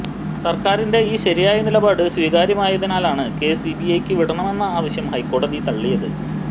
സർക്കാരിന്റെ ഈ ശരിയായ നിലപാട് സ്വീകാര്യമായതിനാലാണ് കേസ് സിബിഐക്ക് വിടണമെന്ന ആവശ്യം ഹൈക്കോടതി തള്ളിയത്